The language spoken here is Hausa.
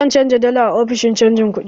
Za ni canja dala a ofishin canja kuɗi.